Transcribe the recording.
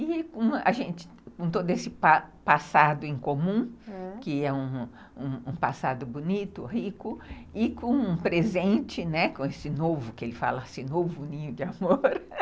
E com todo esse passado em comum, que é um passado bonito, rico, e com um presente, com esse novo, que ele fala, esse novo ninho de amor.